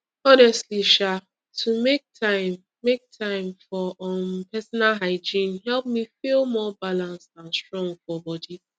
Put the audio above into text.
honestly um to make time make time for um personal hygiene help me feel more balanced and strong for body